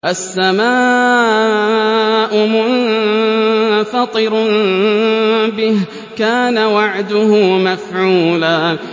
السَّمَاءُ مُنفَطِرٌ بِهِ ۚ كَانَ وَعْدُهُ مَفْعُولًا